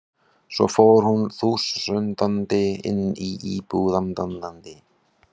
Svo fór hún þusandi inn í íbúðina til að skammast í krakkahópnum sínum.